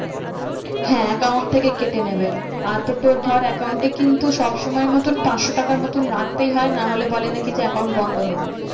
হ্যাঁ account থেকে কেটে নেবে। আর তো তোর ধর account এ কিন্তু সবসময় মতন পাঁচশো টাকা মতন রাখতেই হয় না হলে বলে নাকি যে account বন্ধ হয়ে যায়।